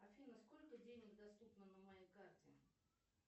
афина сколько денег доступно на моей карте